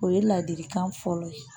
O ye ladilikan fɔlɔ ye